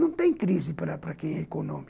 Não tem crise para para quem é econômico.